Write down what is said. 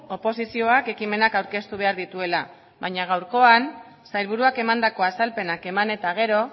oposizioak ekimenak aurkeztu behar dituela baina gaurkoan sailburuak emandako azalpenak eman eta gero